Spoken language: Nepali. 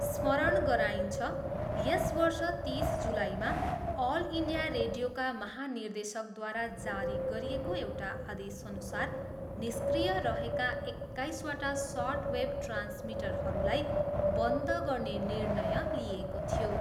स्मरण गराइन्छ, यस वर्ष तिस जुलाईमा अल इन्डिया रेडियोका महानिर्देशकद्वारा जारी गरिएको एउटा आदेशअनुसार निष्क्रिय रहेका एक्काइसवटा सर्ट वेभ ट्रान्समिटरहरूलाई बन्द गर्ने निर्णय लिइएको थियो।